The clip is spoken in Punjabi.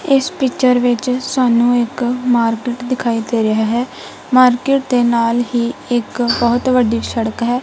ਇੱਸ ਪਿਕਚਰ ਵਿੱਚ ਸਾਨੂੰ ਇੱਕ ਮਾਰਕੇਟ ਦਿਖਾਈ ਦੇ ਰਿਹਾ ਹੈ ਮਾਰਕੇਟ ਦੇ ਨਾਲ ਹੀ ਇੱਕ ਬਹੁਤ ਵੱਡੀ ਸ਼ੜਕ ਹੈ।